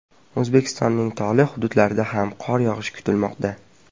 O‘zbekistonning tog‘li hududlarida ham qor yog‘ishi kutilmoqda.